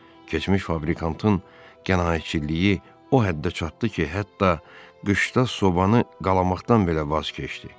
Keçmiş fabrikanın qənaətçiliyi o həddə çatdı ki, hətta qışda sobanı qalamaqdan belə vaz keçdi.